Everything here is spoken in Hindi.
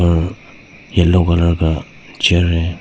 और येलो कलर का चेयर है।